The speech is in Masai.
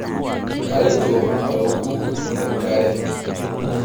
Kaloito aoku enkare.